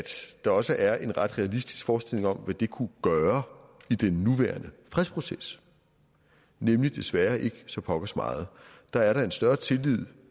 der også er en ret realistisk forestilling om hvad det kunne gøre i den nuværende fredsproces nemlig desværre ikke så pokkers meget der er en større tillid